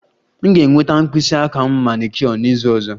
M ga-enweta mkpịsị aka m manicure n'izu ọzọ